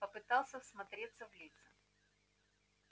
попытался всмотреться в лица